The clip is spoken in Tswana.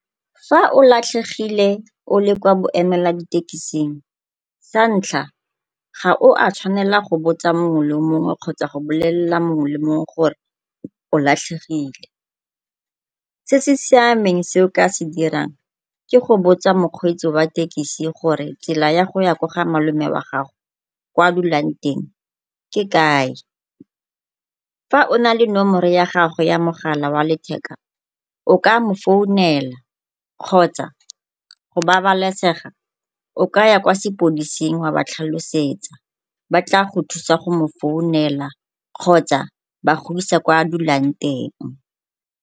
Fa o latlhegile o le kwa boemela ditekising sa ntlha ga o a tshwanela go botsa mongwe le mongwe kgotsa go bolelela mongwe le mongwe gore o latlhegile. Se se siameng se o ka se dirang ke go botsa mokgweetsi wa tekisi gore tsela ya goya ko ga malome wa gago kwa a dulang teng ke kae. Fa o na le nomoro ya gagwe ya mogala wa letheka o ka mo founela kgotsa go babalesega o kaya kwa sepodising wa ba tlhalosetsa ba tla go thusa go mo founela kgotsa ba go isa kwa a dulang teng.